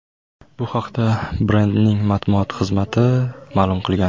Bu haqda brendning matbuot xizmati ma’lum qilgan.